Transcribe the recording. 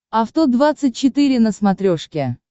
авто двадцать четыре на смотрешке